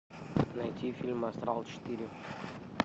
найти фильм астрал четыре